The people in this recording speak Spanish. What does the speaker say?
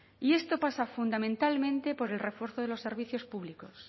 y esto pasa fundamentalmente por el refuerzo de los servicios públicos